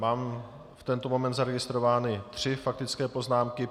Mám v tento moment zaregistrovány tři faktické poznámky.